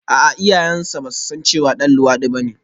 A'a iyayensa ba su san cewa shi ɗan luwaɗi ne ba